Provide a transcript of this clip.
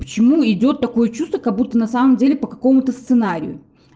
почему идёт такое чувство как будто на самом деле по какому-то сценарию